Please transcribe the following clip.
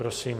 Prosím.